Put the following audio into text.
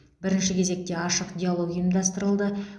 бірінші кезекте ашық диалог ұйымдастырылды